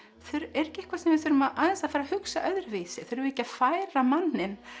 er ekki eitthvað sem við þurfum aðeins að fara að hugsa öðruvísi þurfum við ekki að færa manninn